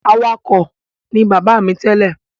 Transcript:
Awakọ̀ ní bàbá mi tẹ́lẹ̀.